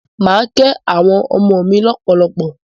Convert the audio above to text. Mà á kẹ́ àwọn ọmọ mí lọ́pọ̀lọpọ̀.